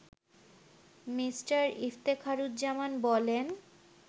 Me. Iftekharuzzaman বলেন